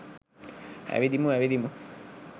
ඇවිදිමු ඇවිදිමු